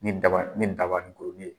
Nin daba nin dabaninkurunin ye.